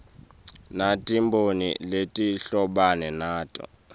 netimboni letihlobene nato